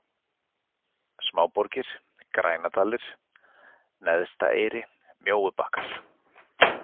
Smáborgir, Grændalir, Neðstaeyri, Mjóubakkar